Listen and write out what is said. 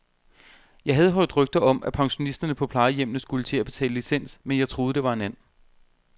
Jeg havde hørt rygter om, at pensionisterne på plejehjemmene skulle til at betale licens, men jeg troede, det var en and.